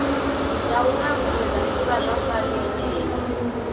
ya u ṱalutshedza ḓivhazwakale yeneyo